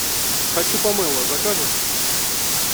хочу помело закажешь